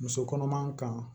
Muso kɔnɔma kan